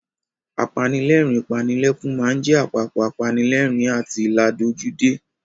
Apanilẹ́rìn-ín-panilẹ́kún máa ń jẹ apapọ̀ apanilẹ́rìn-ín àti ládojúdé.